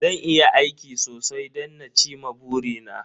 Zan yi aiki sosai don na ci ma buri na